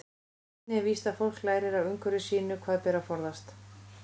Einnig er víst að fólk lærir af umhverfi sínu hvað beri að forðast.